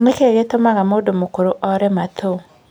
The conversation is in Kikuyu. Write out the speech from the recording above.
Nĩkĩ gĩtũmaga mũndũ mũkũrũ ore matũ?